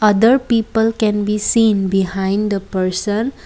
other people can be seen behind the person.